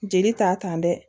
Jeli ta kan dɛ